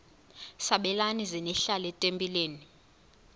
sabelani zenihlal etempileni